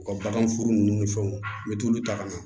U ka baganfuru ninnu ni fɛnw n bɛ t'olu ta ka na